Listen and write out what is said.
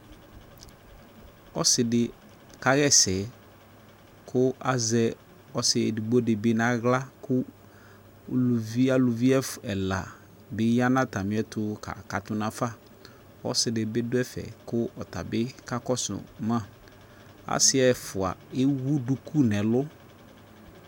Ɔse de ka hasɛ ko azɛ ɔse edigbo de be nahla ko uluvi, aluvi ɛla be ya no atane ɛto ka kato nafaƆse de be do ɛfɛ ko ɔtabe ka kɔso maAse ɛfua ewu duku nɛlu